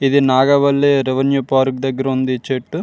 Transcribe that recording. ఇది నాగవల్లి రేణులే railway park దగ్గర ఉంది ఈ చెట్లు.